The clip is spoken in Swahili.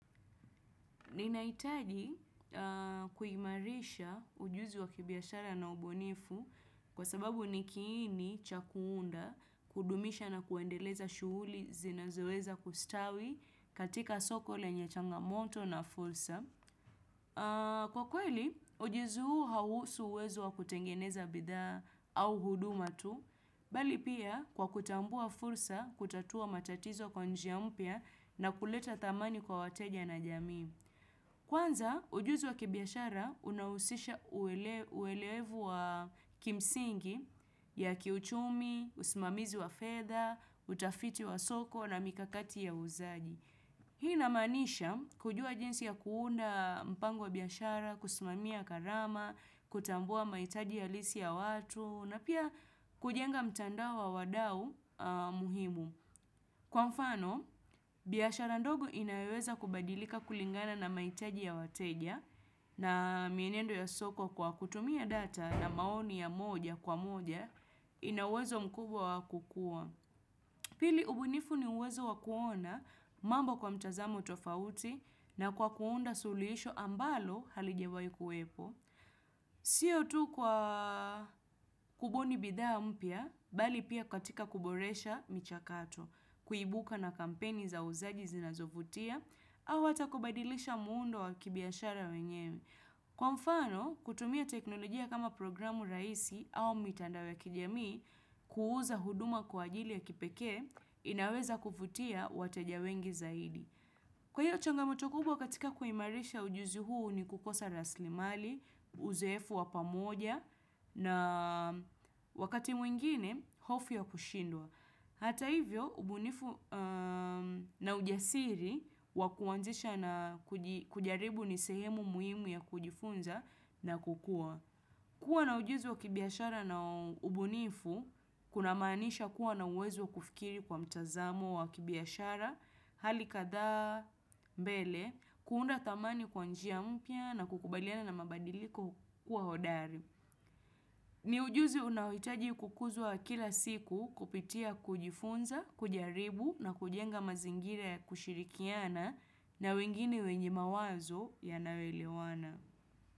Ninahitaji kuimarisha ujuzi wa kibiashara na ubunifu kwa sababu ni kiini cha kuunda kudumisha na kuendeleza shughuli zinazoweza kustawi katika soko lenye changamoto na fursa. Kwa kweli, ujuzu huu hahusu uwezo wa kutengeneza bidhaa au huduma tu, bali pia kwa kutambua fursa kutatua matatizo kwa njia mpya na kuleta thamani kwa wateja na jamii. Kwanza, ujuzi wa kibiashara, unahusisha uewelevu wa kimsingi ya kiuchumi, usimamizi wa fedha utafiti wa soko na mikakati ya uuzaji. Hii inamaanisha, kujua jinsi ya kuunda mpango wa biashara, kusimamia gharama, kutambua mahitaji halisi ya watu, na pia kujenga mtandao wa wadau muhimu. Kwa mfano, biashara ndogo inaweza kubadilika kulingana na mahitaji ya wateja na mienendo ya soko kwa kutumia data na maoni ya moja kwa moja, ina uwezo mkubwa wa kukua. Pili ubunifu ni uwezo wa kuona mambo kwa mtazamo tofauti na kwa kuunda suluhisho ambalo halijawahi kuwepo. Sio tu kwa kubuni bidhaa mpya, bali pia katika kuboresha michakato kuibuka na kampeni za uuzaji zinazovutia au watakaobadilisha muundo wa kibiashara wenyewe Kwa mfano, kutumia teknolojia kama programu rahisi au mitandao ya kijami kuuza huduma kwa ajili ya kipekee, inaweza kuvutia wateja wengi zaidi. Kwa hiyo changamoto kubwa katika kuimarisha ujuzi huu ni kukosa raslimali Uzoefu wa pamoja na wakati mwingine, hofu ya kushindwa. Hata hivyo, ubunifu na ujasiri wa kuanzisha na kujaribu ni sehemu muhimu ya kujifunza na kukua. Kuwa na ujuzi wa kibiashara na ubunifu, kunamaanisha kuwa na uwezo kufikiri kwa mtazamo wa kibiashara. Hali kadhaa mbele kuunda thamani kwa njia mpya na kukubaliana na mabadiliko kuwa hodari. Ni ujuzi unaohitaji kukuzwa kila siku kupitia kujifunza, kujaribu na kujenga mazingira ya kushirikiana na wengine wenye mawazo yanayoelewana.